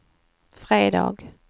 fredag